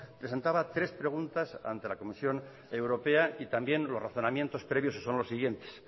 presentaba tres preguntas ante la comisión europea y también los razonamientos previos que son los siguientes